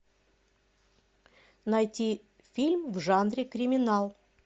найти фильм в жанре криминал